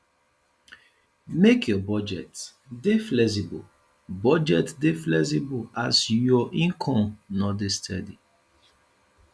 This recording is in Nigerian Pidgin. make your budget dey flexible budget dey flexible as you income no dey steady